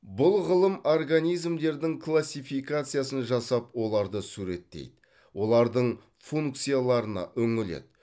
бұл ғылым организмдердің классификациясын жасап оларды суреттейді олардың функцияларына үңіледі